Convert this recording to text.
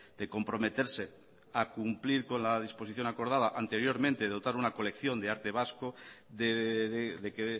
de comprometerse a cumplir con la disposición acordada anteriormente de dotar una colección de arte vasco de que